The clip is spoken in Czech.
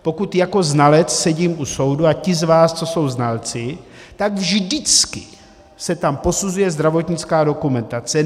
Pokud jako znalec sedím u soudu, a ti z vás, co jsou znalci, tak vždycky se tam posuzuje zdravotnická dokumentace.